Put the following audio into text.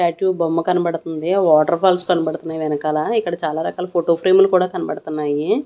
Tattoo బొమ్మ కనబడతంది water falls కనబడతన్నాయ్ వెనకాలా ఇక్కడ చాలా రకాల ఫోటో ఫ్రేములు కూడా కనబడతన్నాయి.